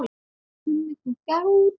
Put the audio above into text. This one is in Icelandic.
Krummi krunkar úti